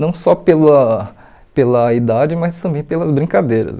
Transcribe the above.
Não só pela pela idade, mas também pelas brincadeiras.